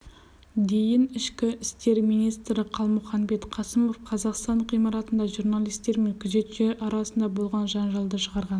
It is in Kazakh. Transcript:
дейін ішкі істер министрі қалмұханбет қасымов қазақстан ғимаратында журналистер мен күзетшілер арасында болған жанжалды шығарған